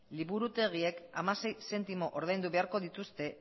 liburutegiek hamasei zentimo ordaindu beharko dituzte